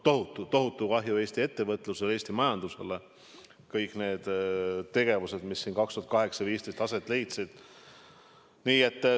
Tohutu kahju Eesti ettevõtlusele, Eesti majandusele tekkis kõigist nendest tegevustest, mis 2008–2015 aset leidsid.